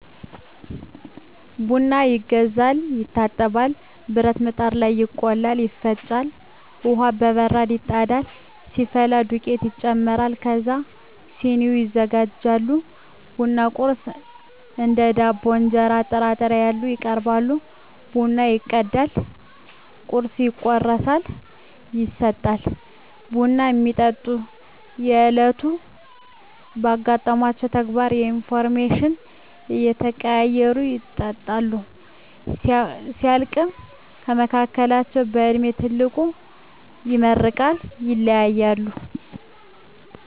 ቡና ይገዛል፤ ይታጠባል፤ ብረት ምጣድ ላይ ይቆላል፤ ይፈጫል፤ ውሃ በበራድ ይጣዳል፤ ሲፈላ ዱቄቱ ይጨመራል ከዛ ስኒዎች ይዘጋጃሉ፤ ቡና ቁርስ እንደ ዳቦ፤ እንጀራ፤ ጥራጥሬ ያሉ ይቀርባሉ ቡናው ይቀዳል ቁርሱ ይቆረሳል ይሰጣል። ቡና እሚጠጡት በዕለቱ ስላጋጠሟቸው ተግባራት ኢንፎርሜሽን እየተቀያየሩ ይጠጣሉ። ሲያልቅ ከመካከላቸው በእድሜ ትልቁ ይመርቃል ይለያያሉ።